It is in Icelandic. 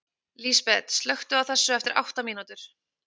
Lísbet, slökktu á þessu eftir átta mínútur.